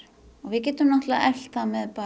og við getum eflt það með